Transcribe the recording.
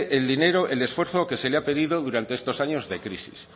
el dinero el esfuerzo que se le ha pedido durante estos años de crisis